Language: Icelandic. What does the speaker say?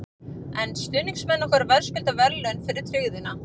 En stuðningsmenn okkar verðskulda verðlaun fyrir tryggðina.